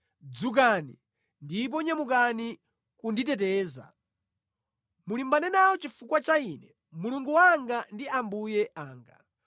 Dzukani, ndipo nyamukani kunditeteza! Mulimbane nawo chifukwa cha ine, Mulungu wanga ndi Ambuye anga.